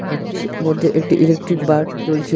ঘরটির মধ্যে একটি ইলেকট্রিক বাল্ব জ্বলছে।